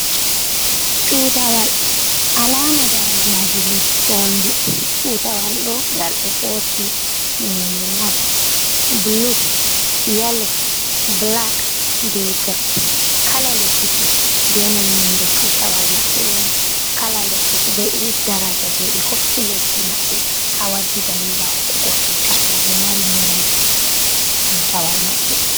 Tutawal alama darajaaji leddi wondi, tutal ɗo ngal ɗo hosi nooni nai bulu, yelo, bulak be girin. Kala leddi fu be no nonde tutawal maɓɓe woni, kala leddi fu be irin daraja jei ɓe hokki leddi maɓɓe ha waddi dalila hokkugo tutawal jei mari none tutawal maɓɓe.